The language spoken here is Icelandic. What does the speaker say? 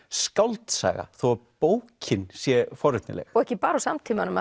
skáldsaga þó að bókin sé forvitnileg og ekki bara úr samtímanum